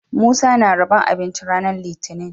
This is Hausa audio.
Musa na rabon abinci ranar litinin